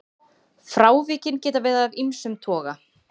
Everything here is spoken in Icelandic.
Frávikin geta verið af ýmsum toga.